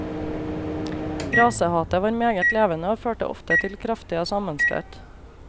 Rasehatet var meget levende og førte ofte til kraftige sammenstøt.